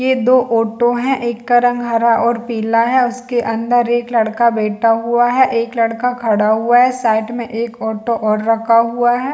दो ऑटो है एक का रंग हरा और पीला है उसके अंदर एक लड़का बैठा हुआ है एक लड़का खड़ा हुआ है साइड में एक ऑटो और रखा हुआ है।